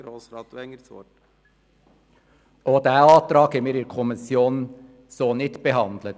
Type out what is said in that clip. der SiK. Auch diesen Antrag haben wir in der Kommission so nicht behandelt.